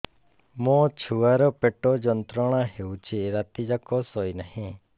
ମୋ ଛୁଆର ପେଟ ଯନ୍ତ୍ରଣା ହେଉଛି ରାତି ଯାକ ଶୋଇନାହିଁ